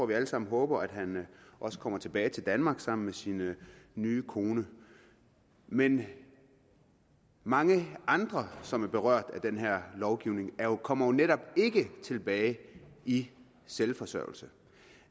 vi alle sammen håber at han kommer tilbage til danmark sammen med sin nye kone men mange andre som er berørt af den her lovgivning kommer jo netop ikke tilbage i selvforsørgelse